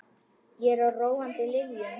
Ég er á róandi lyfjum.